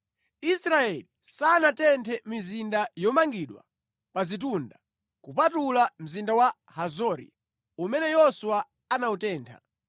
Israeli sanatenthe mizinda yomangidwa pa zitunda, kupatula mzinda wa Hazori, umene Yoswa anawutentha.